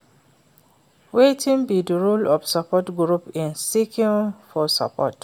Wetin be di role of support groups in seeking for support?